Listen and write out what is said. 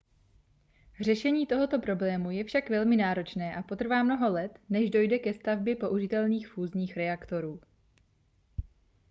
řešení tohoto problému je však velmi náročné a potrvá mnoho let než dojde ke stavbě použitelných fúzních reaktorů